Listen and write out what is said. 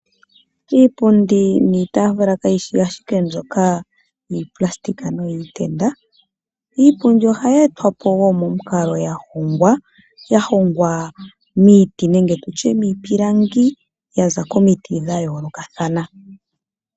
Iipundi niitaafula kayi shi ashike mbyoka yiitenda niikwawo , iipundi ohayi e twa po wo momukalo ya hongwa , ya hongwa miiti nenge miipilangi ya za komiti dha yoolokathana.